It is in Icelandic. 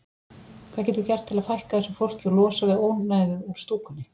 Hvað getum við gert til að fækka þessu fólki og losna við ónæðið úr stúkunni?